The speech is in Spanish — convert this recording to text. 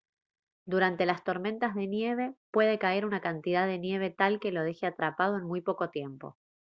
durante las tormentas de nieve puede caer una cantidad de nieve tal que lo deje atrapado en muy poco tiempo